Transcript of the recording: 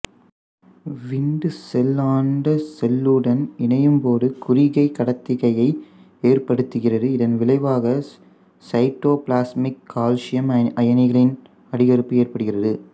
விந்து செல் அண்ட செல்லுடன் இணையும்போது குறிகை கடத்துகையை ஏற்படுத்துகிறது இதன் விளைவாக சைட்டோபிளாஸ்மிக் கால்சியம் அயனிகளின் அதிகரிப்பு ஏற்படுகிறது